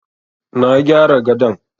Na gyara gadon.